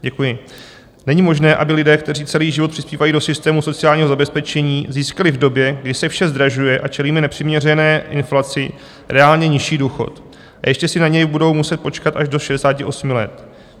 "Není možné, aby lidé, kteří celý život přispívají do systému sociálního zabezpečení, získali v době, kdy se vše zdražuje a čelíme nepřiměřené inflaci, reálně nižší důchod, a ještě si na něj budou muset počkat až do 68 let.